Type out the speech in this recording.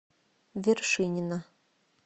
вершинина